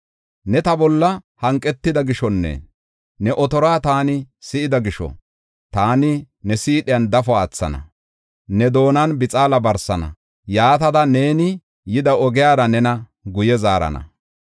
Ne ta bolla hanqetida gishonne, ne otoruwa taani si7ida gisho, taani ne siidhiyan dafo aathana; ne doonan bixaala barsana. Yaatada neeni yida ogiyara nena guye zaarana.”